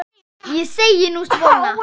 Nei, ég segi nú svona.